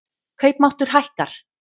Kaupmáttur hækkar